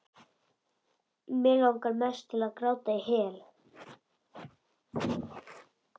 Langar mest til að gráta sig í hel.